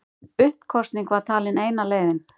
Uppkosning var talin eina leiðin